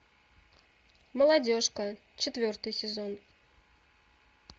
молодежка четвертый сезон